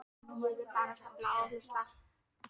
Ég er bara að safna og hlusta.